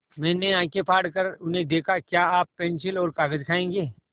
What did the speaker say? मैंने आँखें फाड़ कर उन्हें देखा क्या आप पेन्सिल और कागज़ खाएँगे